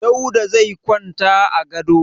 Dauda zai kwanta a gado.